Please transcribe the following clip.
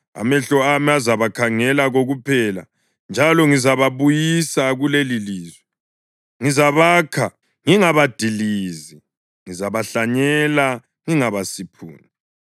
Amehlo ami azabakhangela kokuphela, njalo ngizababuyisa kulelilizwe. Ngizabakha ngingabadilizi; ngizabahlanyela ngingabasiphuni.